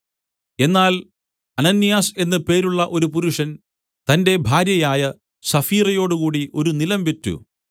എന്നാൽ അനന്യാസ് എന്ന് പേരുള്ള ഒരു പുരുഷൻ തന്റെ ഭാര്യയായ സഫീറയോടുകൂടി ഒരു നിലം വിറ്റ്